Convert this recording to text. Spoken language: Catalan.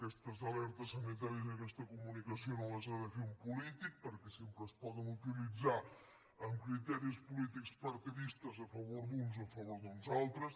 aquestes alertes sanitàries i aquesta comunicació no les ha de fer un polític perquè sempre es poden uti·litzar amb criteris polítics partidistes a favor d’uns o a favor d’uns altres